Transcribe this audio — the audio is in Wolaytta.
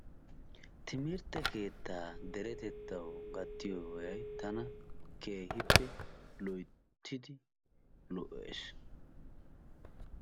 Timirtte keettaa deretettawu gattiyobay tana keehiippe loyttidi lo'ees.